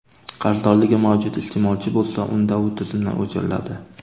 Qarzdorligi mavjud iste’molchi bo‘lsa, unda u tizimdan o‘chiriladi.